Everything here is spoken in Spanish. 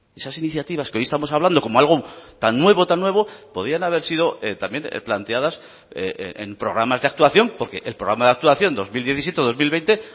esas iniciativas que hoy estamos hablando como algo tan nuevo tan nuevo podían haber sido también planteadas en programas de actuación porque el programa de actuación dos mil diecisiete dos mil veinte